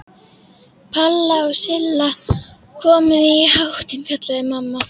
Palla og Silla, komið þið í háttinn kallaði mamma.